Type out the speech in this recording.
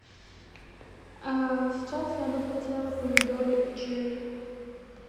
сейчас я бы хотела помидоры черри